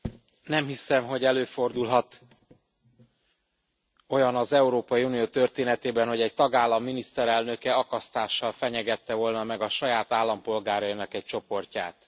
Elnök Asszony, nem hiszem, hogy előfordulhat olyan az Európai Unió történetében, hogy egy tagállam miniszterelnöke akasztással fenyegette volna meg a saját állampolgárainak egy csoportját.